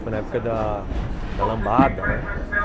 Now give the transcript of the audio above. Foi na época da da lambada, né? aham.